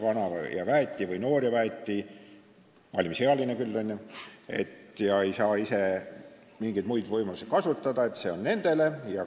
Kes on vana ja väeti või noor ja väeti, valimisealine küll, ega saa mingeid muid võimalusi kasutada – see on mõeldud nendele.